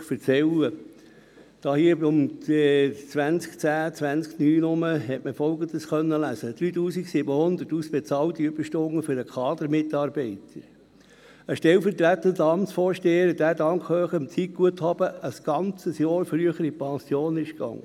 Irgendwann in der Zeitspanne zwischen 2009–2010 konnte man Folgendes lesen: 3700 ausbezahlten Überstunden für einen Kadermitarbeiter, einen stellvertretenden Amtsvorsteher, der dank hohem Zeitguthaben ein ganzes Jahr früher in Pension ging;